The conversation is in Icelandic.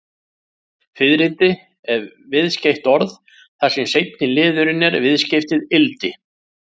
Fiðrildi er viðskeytt orð, þar sem seinni liðurinn er viðskeytið-ildi.